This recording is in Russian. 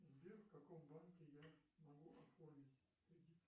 сбер в каком банке я могу оформить кредит